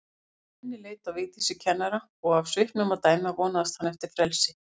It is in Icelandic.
Svenni leit á Vigdísi kennara og af svipnum að dæma vonaðist hann eftir frelsi.